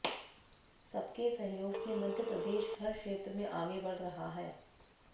सबके सहयोग से मध्यप्रदेश हर क्षेत्र में आगे बढ़ रहा है